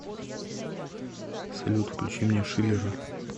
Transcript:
салют включи мне шиллера